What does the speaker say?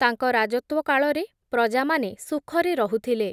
ତାଙ୍କ ରାଜତ୍ଵ କାଳରେ, ପ୍ରଜାମାନେ ସୁଖରେ ରହୁଥିଲେ ।